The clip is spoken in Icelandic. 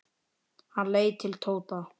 Hann leit til Tóta.